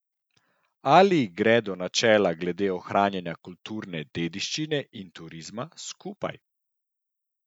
Ali gredo načela glede ohranjanja kulturne dediščine in turizma skupaj?